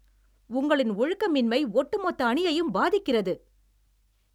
உங்களின் ஒழுக்கமின்மை ஒட்டுமொத்த அணியையும் பாதிக்கிறது.